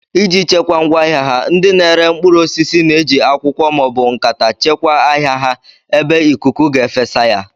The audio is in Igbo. Iji chekwaa ngwaahịa ha, ndị na-ere mkpụrụ osisi na-eji akwụkwọ maọbụ nkata chekwaa ahịa ha ebe ikuku ga-efesa ya